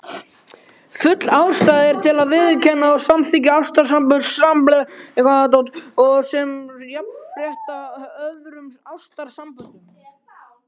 Full ástæða er til að viðurkenna og samþykkja ástarsambönd samkynhneigðra sem jafnrétthá öðrum ástarsamböndum.